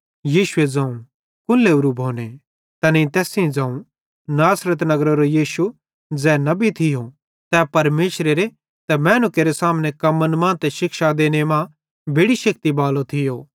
यीशुए ज़ोवं कुन लोरूए भोने तैनेईं तैस सेइं ज़ोवं नासरत नगरेरो यीशु ज़ै नबी थियो तै परमेशरेरे ते मैनू केरे सामने कम्मन मां ते शिक्षा देने मां बेड़ि शेक्ति बालो थियो